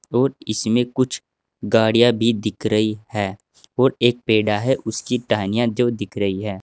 और इसमें कुछ गाड़ियां भी दिख रही हैं और एक पेड़ा है उसकी टहनियां जो दिख रही हैं।